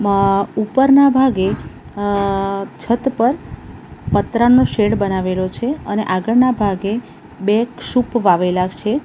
અહ ઉપરના ભાગે અહ છત પર પતરાનું શેડ બનાવેલો છે અને આગળના ભાગે બે ક્ષુપ વાવેલા છે.